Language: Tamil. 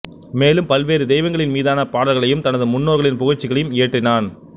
மேலும் பல்வேறு தெய்வங்களின் மீதான பாடல்களையும் தனது முன்னோர்களின் புகழ்ச்சிகளையும் இயற்றினான்